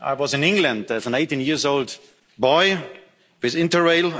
I was in England as an 18 year old boy with Interrail.